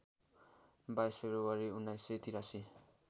२२ February १९८३